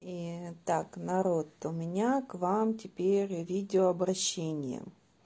и так народ у меня к вам теперь видеообращение